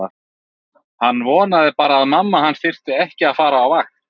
Hann vonaði bara að mamma hans þyrfti ekki að fara á vakt.